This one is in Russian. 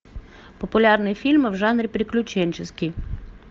популярные фильмы в жанре приключенческий